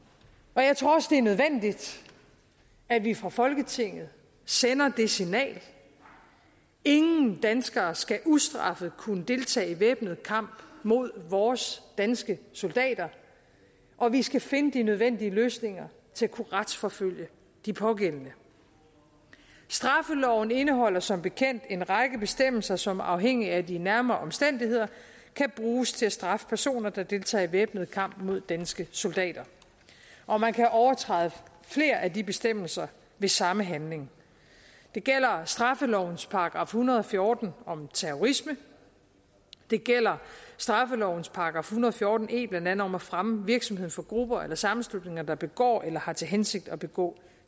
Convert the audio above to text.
og jeg tror også det er nødvendigt at vi fra folketinget sender det signal ingen danskere skal ustraffet kunne deltage i væbnet kamp mod vores danske soldater og vi skal finde de nødvendige løsninger til at kunne retsforfølge de pågældende straffeloven indeholder som bekendt en række bestemmelser som afhængigt af de nærmere omstændigheder kan bruges til at straffe personer der deltager i væbnet kamp mod danske soldater og man kan overtræde flere af de bestemmelser ved samme handling det gælder straffelovens § en hundrede og fjorten om terrorisme det gælder straffelovens § en hundrede og fjorten e blandt andet om at fremme virksomheden for grupper eller sammenslutninger der begår eller har til hensigt at begå